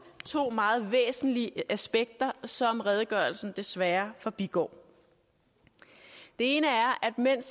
to meget væsentlige aspekter som redegørelsen desværre forbigår det ene er at mens